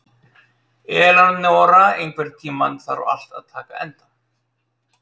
Eleonora, einhvern tímann þarf allt að taka enda.